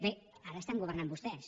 bé ara estan governant vostès